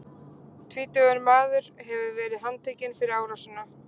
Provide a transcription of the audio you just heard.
Tvítugur maður hefur verið handtekinn fyrir árásina.